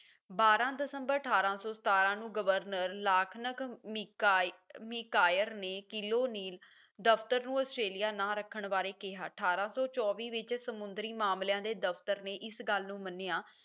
ਬਾਰਾਂ ਦਸੰਬਰ ਅਠਾਰਾਂ ਸੌ ਸਤਾਰਾਂ ਨੂੰ ਗਵਰਨਰ lachlan ਮਿਕਾਈ macquarie ਨੇ ਕਿਲੋਨੀਲ ਦਫ਼ਤਰ ਨੂੰ ਆਸਟ੍ਰੇਲੀਆ ਨਾਂ ਰੱਖਣ ਬਾਰੇ ਕਿਹਾ ਅਠਾਰਾਂ ਸੌ ਚੌਵੀ ਵਿੱਚ ਸਮੁੰਦਰੀ ਮਾਮਲਿਆਂ ਦੇ ਦਫ਼ਤਰ ਨੇ ਇਸ ਗੱਲ ਨੂੰ ਮੰਨਿਆ